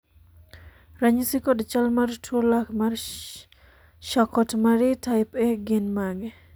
ranyisi kod chal mar tuo lak mar Charkot Marie type A gin mage?